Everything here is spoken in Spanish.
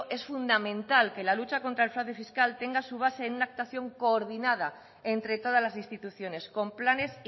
es fundamental que la lucha contra el fraude fiscal tenga su base en una actuación coordinada entre todas las instituciones con planes